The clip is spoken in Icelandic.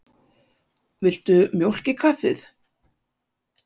Viltu mjólk í kaffið?